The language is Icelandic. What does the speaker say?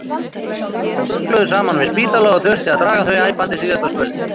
Sum rugluðu saman við spítala og þurfti að draga þau æpandi síðasta spölinn.